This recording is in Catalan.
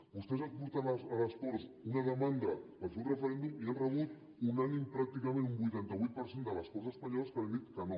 vostès han portat a les corts una demanda per fer un referèndum i hi han rebut unànimement pràcticament un vuitanta vuit per cent de les corts espanyoles que li han dit que no